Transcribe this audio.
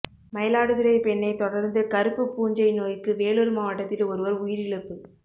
மயிலாடுதுறை பெண்ணை தொடர்ந்து கருப்பு பூஞ்சை நோய்க்கு வேலூர் மாவட்டத்தில் ஒருவர் உயிரிழப்பு